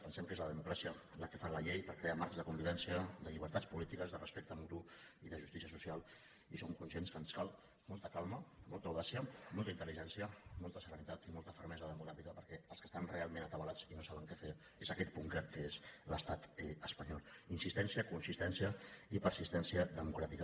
pensem que és la democràcia la que fa la llei per crear marcs de convivència de llibertats polítiques de respecte mutu i de justícia social i som conscients que ens cal molta calma molta audàcia molta intel·ligència molta serenitat i molta fermesa democràtica perquè els que estan realment atabalats i no saben què fer és aquest búnquer que és l’estat espanyol insistència consistència i persistència democràtica